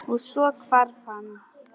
Og- svo hvarf hann.